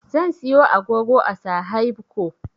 Zan siyo agogo a sahaibco